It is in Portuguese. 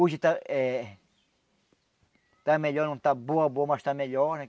Hoje está eh... Está melhor, não está boa boa, mas está melhor, né?